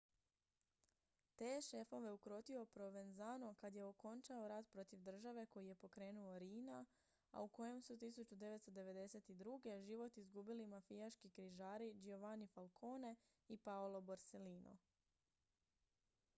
te je šefove ukrotio provenzano kad je okončao rat protiv države koji je pokrenuo riina a u kojem su 1992. život izgubili mafijaški križari giovanni falcone i paolo borsellino